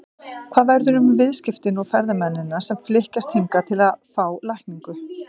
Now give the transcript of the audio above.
Hvað verður um viðskiptin og ferðamennina sem flykkjast hingað til að fá lækningu?